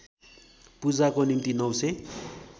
पुजाको निम्ति ९००